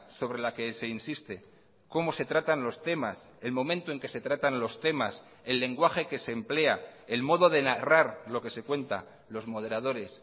sobre la que se insiste cómo se tratan los temas el momento en que se tratan los temas el lenguaje que se emplea el modo de narrar lo que se cuenta los moderadores